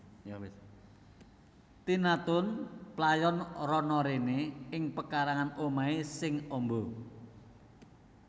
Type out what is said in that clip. Tina Toon playon rono rene ing pekarangan omahe sing amba